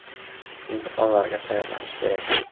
Imtihonlarga tayyorlanish kerak.